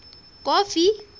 kofi